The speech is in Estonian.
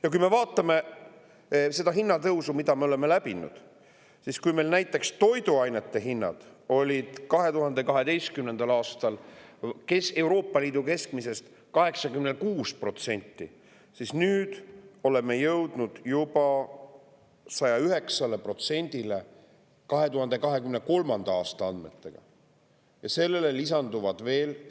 Ja kui me vaatame seda hinnatõusu, mille me oleme läbinud, siis kui meil näiteks toiduainete hinnad moodustasid 2012. aastal Euroopa Liidu keskmisest 86%, siis 2023. aasta andmetega oleme jõudnud juba 109%-ni.